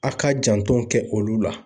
A ka janto kɛ olu la